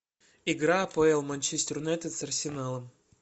игра апл манчестер юнайтед с арсеналом